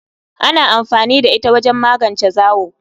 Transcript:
Ana amfani da ita wajen magance zawo.